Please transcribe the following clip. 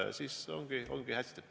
Ja siis ongi hästi.